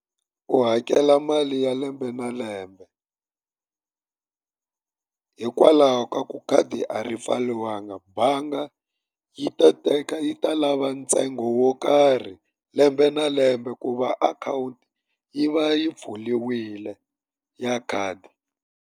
U hakela mali ya lembe na lembe. Hikwalaho ka ku khadi a ri pfariwanga bangi yi ta teka yi ta lava ntsengo wo karhi, lembe na lembe ku va akhawunti yi va yi pfuriwile ya khadi.